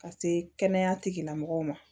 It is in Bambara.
Ka se kɛnɛya tigilamɔgɔw ma